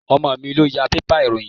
Ọmọ mi ló ya bébà ìròyìn.